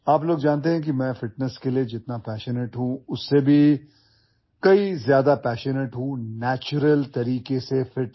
আপোনালোক সকলোৱে জানে যে মই ফিটনেছতকৈ ফিট হোৱাৰ প্ৰাকৃতিক পদ্ধতিৰ প্ৰতি অধিক আকৰ্ষিত